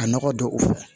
Ka nɔgɔ don o fɛ